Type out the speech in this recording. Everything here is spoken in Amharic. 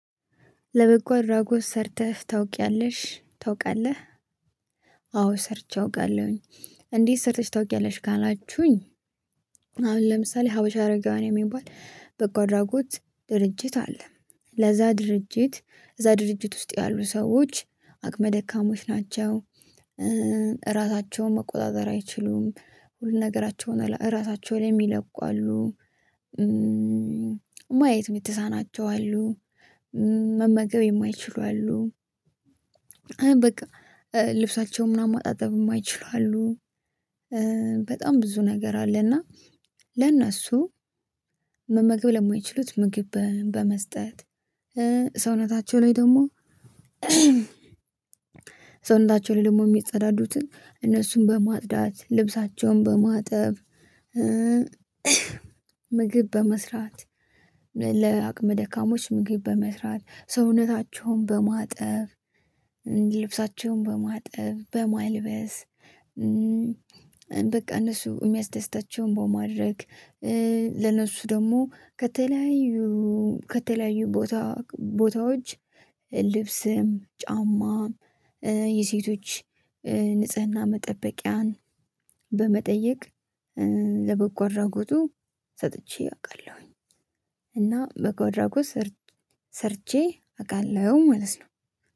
ለበጎ አድራጎት ሰርተህ ታውቂያለሽ ታውቃለህ? አዎ ሰርቼ አውቃለሁኝ። እንዴት ሰርተሽ ታውቂያለሽ ጋር አላችሁኝ። አሁን ለምሳሌ ሀበሻ አረጋውያን የሚባል በጎ አድራጎት ድርጅት አለ ለዛ ድርጅት እዛ ድርጅት ውስጥ ያሉ ሰዎች አቅመ ደካሞች ናቸው። ራሳቸውን መቆጣጠር አይችሉም ሁሉ ነገራቸውን ራሳቸው ላይ የሚለቁ አሉ። ማየት የሚተሳናቸው አሉ። መመገብ የማይችሉ አሉ። በቃ ልብሳቸው ምናምን ማጣጠብ የማይችሉ አሉ። በጣም ብዙ ነገር አለና ለእነሱ መመገብ ለማይችሉት ምግብ በመስጠት ሰውነታቸው ላይ ደግሞ ሰውነታቸው ደግሞ የሚጸዳዱትን እነሱን በማጽዳት ልብሳቸውን በማጠብ። ምግብ በመስራት ለአቅመ ደካሞች ምግብ በመስራት ሰውነታቸውን በማጠብ ልብሳቸውን በማጠብ በማልበስ። እነሱ የሚያስደስታቸውን በማድረግ ለነሱ ደግሞ ከተለያዩ ከተለያዩ ቦታ ቦታዎች ልብስም ጫማም የሴቶች ንጽህና መጠበቂያን በመጠየቅ ለበጎ አድራጎቱ ሰጥቼ አውቃለሁኝ። እና በጎ በጎ አራጎት ሰርቼ አውቃለሁ መለት ነው።